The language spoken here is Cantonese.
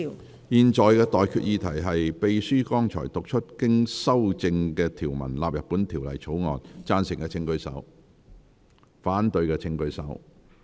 我現在向各位提出的待決議題是：秘書剛讀出經修正的條文納入本條例草案。贊成的請舉手。反對的請舉手。